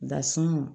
Dasun